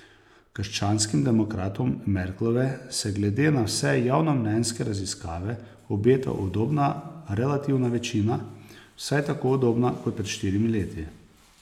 Krščanskim demokratom Merklove se glede na vse javnomnenjske raziskave obeta udobna relativna večina, vsaj tako udobna kot pred štirimi leti.